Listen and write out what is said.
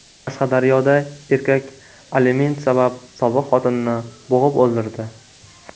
Qashqadaryoda erkak aliment sabab sobiq xotinini bo‘g‘ib o‘ldirdi.